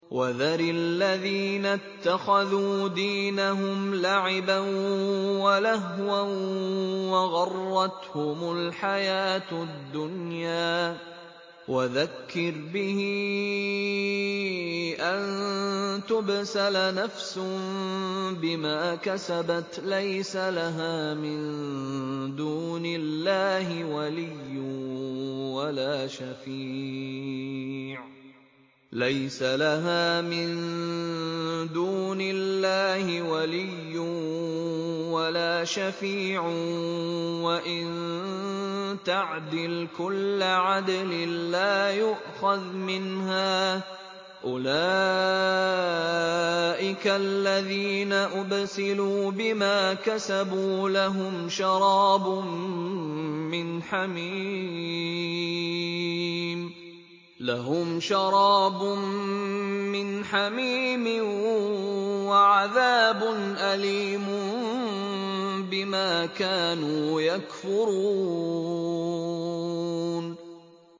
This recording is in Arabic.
وَذَرِ الَّذِينَ اتَّخَذُوا دِينَهُمْ لَعِبًا وَلَهْوًا وَغَرَّتْهُمُ الْحَيَاةُ الدُّنْيَا ۚ وَذَكِّرْ بِهِ أَن تُبْسَلَ نَفْسٌ بِمَا كَسَبَتْ لَيْسَ لَهَا مِن دُونِ اللَّهِ وَلِيٌّ وَلَا شَفِيعٌ وَإِن تَعْدِلْ كُلَّ عَدْلٍ لَّا يُؤْخَذْ مِنْهَا ۗ أُولَٰئِكَ الَّذِينَ أُبْسِلُوا بِمَا كَسَبُوا ۖ لَهُمْ شَرَابٌ مِّنْ حَمِيمٍ وَعَذَابٌ أَلِيمٌ بِمَا كَانُوا يَكْفُرُونَ